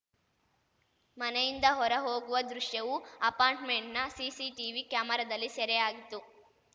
ಮನೆಯಿಂದ ಹೊರ ಹೋಗುವ ದೃಶ್ಯವು ಅಪಾರ್ಟ್‌ಮೆಂಟ್‌ನ ಸಿಸಿಟಿವಿ ಕ್ಯಾಮೆರಾದಲ್ಲಿ ಸೆರೆಯಾಗಿತ್ತು